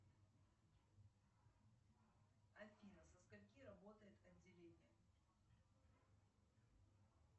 афина со скольки работает отделение